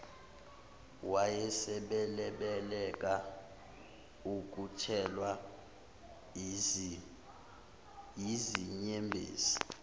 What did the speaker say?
wayesebalekela ukuthelwa yizinyembezi